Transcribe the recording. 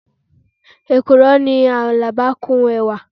ekuro ni alaba kun ẹwa